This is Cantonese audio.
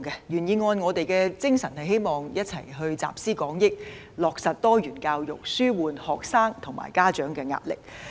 原議案的精神是希望集思廣益，落實多元教育，紓緩學生及家長的壓力。